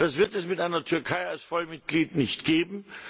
Das wird es mit einer Türkei als Vollmitglied nicht geben.